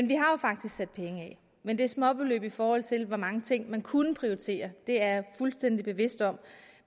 vi har jo faktisk sat penge af men det er småbeløb i forhold til hvor mange ting man kunne prioritere det er jeg fuldstændig bevidst om